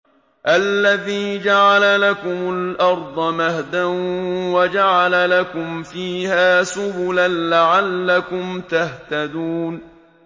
الَّذِي جَعَلَ لَكُمُ الْأَرْضَ مَهْدًا وَجَعَلَ لَكُمْ فِيهَا سُبُلًا لَّعَلَّكُمْ تَهْتَدُونَ